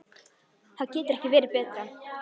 Það getur ekki verið betra.